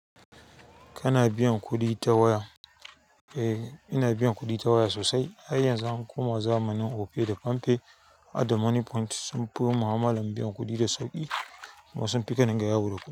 Kana biyan kuɗi ta waya? Eh, ina biyan kuɗi ta waya sosai. Ai yanzu an koma zamanin Opay da PamPay da Money Point sun fi mu'amalan biyan kuɗi da sauƙi. Kuma sun fi kadinga yawo da kuɗi.